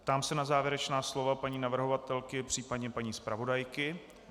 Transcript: Ptám se na závěrečná slova paní navrhovatelky, případně paní zpravodajky.